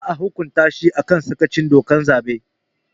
Za a hukunta shi a kan yin sakaci da dokar zaɓe